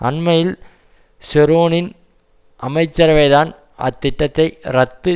அண்மையில் ஷெரோனின் அமைச்சரவைதான் அத்திட்டத்தை ரத்து